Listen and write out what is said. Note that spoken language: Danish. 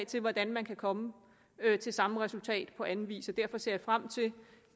til hvordan man kan komme til samme resultat på anden vis derfor ser jeg frem til